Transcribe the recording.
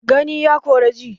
Gani ya kora ji